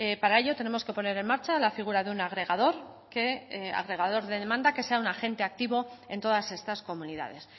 para ello tenemos que poner en marcha la figura de un agregador de demanda que sea un agente activo en todas estas comunidades